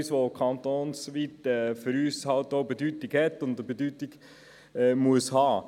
Das hat kantonsweit eine Bedeutung und muss auch eine Bedeutung haben.